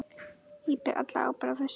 Ég ber alla ábyrgð á þessu.